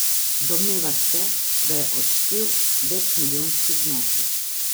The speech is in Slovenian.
Domneva se, da je odštel večmilijonski znesek.